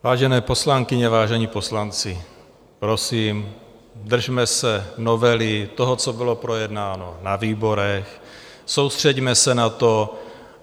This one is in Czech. Vážené poslankyně, vážení poslanci, prosím, držme se novely, toho, co bylo projednáno na výborech, soustřeďme se na to.